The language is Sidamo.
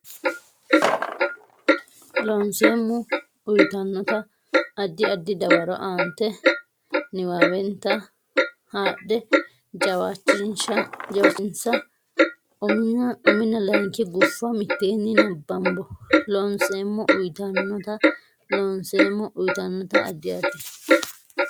Loonseemmo uytannota addi addi dawaro aantete niwaawennita haadhe jawaachishinsa uminna layinki guffa mitteenni nabbambo Loonseemmo uytannota Loonseemmo uytannota addi addi.